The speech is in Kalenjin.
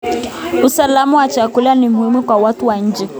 Usalama wa chakula ni muhimu kwa watu wa nchi